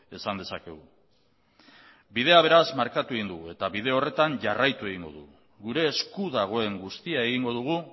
esan dezakegu bidea beraz markatu egin dugu eta bide horretan jarraitu egingo dugu gure esku dagoen guztia egingo dugu